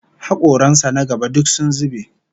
Hakoran sa na gaba duk sun zube